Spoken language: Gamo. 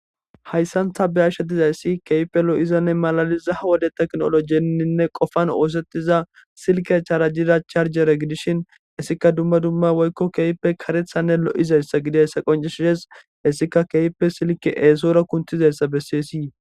Hayisan ta be ashe dizayisi kehippe lo, izanne malaliza ha wode tekinologenine qofan osetida silke charjida charje gidishin etika duma duma woyiko kehippe karethanne lo,izayisanne qoncides hesika silke esora kiyizayisa besees